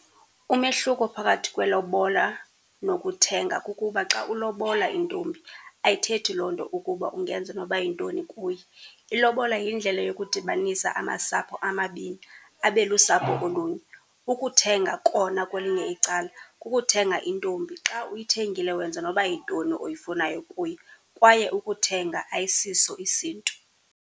Umehluko phakathi kwelobola nokuthenga kukuba xa ulobola intombi ayithethi loo nto ukuba ungenza noba yintoni kuye. Ilobola yindlela yokudibanisa amasapho amabini abe lusapho olunye. Ukuthenga kona kwelinye icala kukuthenga intombi. Xa uyithengile wenza noba yintoni oyifunayo kuyo, kwaye ukuthenga ayisiso isiNtu.